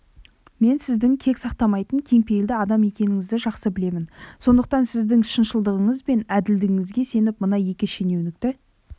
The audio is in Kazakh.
мен сіздің кек сақтамайтын кеңпейілді адам екеніңізді жақсы білемін сондықтан сіздің шыншылдығыңыз бен әділдігіңізге сеніп мына екі шенеунікті